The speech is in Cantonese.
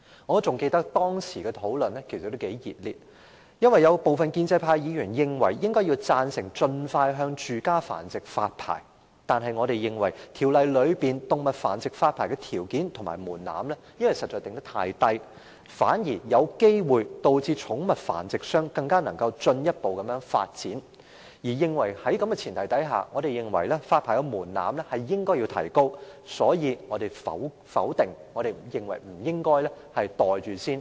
我記得當時的辯論相當熱烈，因為有部分建制派議員贊成盡快就住家繁殖發牌，但我們認為該法案中有關向動物繁育者發牌的條件和門檻實在訂得太低，反而可能讓寵物繁殖商有機會進一步發展；在這前提下，我們認為發牌門檻應予提高，所以我們反對該法案，認為不應把它"袋住先"。